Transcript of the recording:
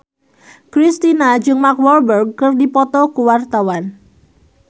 Kristina jeung Mark Walberg keur dipoto ku wartawan